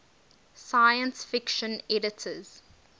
science fiction editors